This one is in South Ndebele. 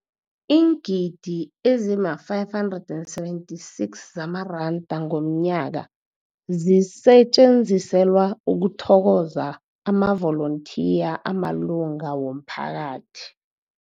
Iingidi ezima-576 zamaranda ngomnyaka zisetjenziselwa ukuthokoza amavolontiya amalunga womphakathi.